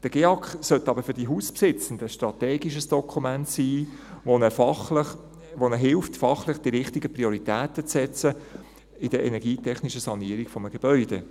Der GEAK soll aber für die Hausbesitzenden ein strategisches Dokument sein, das ihnen hilft, fachlich die richtigen Prioritäten zu setzen in der energietechnischen Sanierung eines Gebäudes.